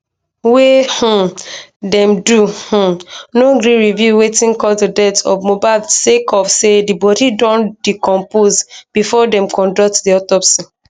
wey um dem do um no gree reveal wetin cause di death of mohbad sake of say di bodi don decompose bifor dem conduct di autopsy